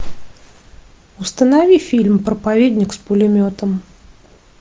установи фильм проповедник с пулеметом